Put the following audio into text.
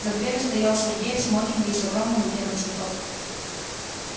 за дверью стоял сергей в смокинге и с огромным букетом цветов